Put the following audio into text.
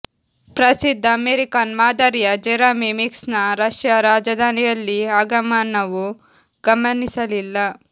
ಪ್ರಸಿದ್ಧ ಅಮೆರಿಕನ್ ಮಾದರಿಯ ಜೆರೆಮಿ ಮಿಕ್ಸ್ನ ರಷ್ಯಾ ರಾಜಧಾನಿಯಲ್ಲಿ ಆಗಮನವು ಗಮನಿಸಲಿಲ್ಲ